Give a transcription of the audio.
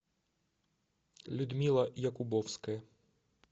людмила якубовская